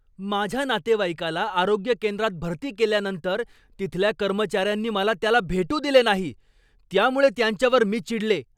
माझ्या नातेवाईकाला आरोग्य केंद्रात भरती केल्यानंतर तिथल्या कर्मचाऱ्यांनी मला त्याला भेटू दिले नाही. त्यामुळे त्यांच्यावर मी चिडले.